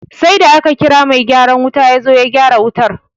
Sai da aka kira mai gyaran wuta yazo ya gyara wutar